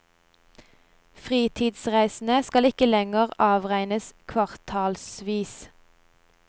Fritidsreisene skal ikke lenger avregnes kvartalsvis.